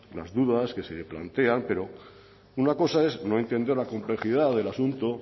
las dudas que se plantean pero una cosa es no entender la complejidad del asunto